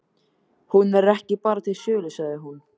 Hún er bara ekki til sölu, sagði hún.